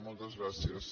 moltes gràcies